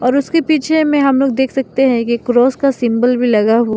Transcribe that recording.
उसके पीछे में हम लोग देख सकते हैं कि क्रॉस का सिंबल भी लगा हु --